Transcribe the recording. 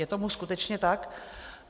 Je tomu skutečně tak?